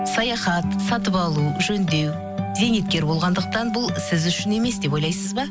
саяхат сатып алу жөндеу зейнеткер болғандықтан бұл сіз үшін емес деп ойлайсыз ба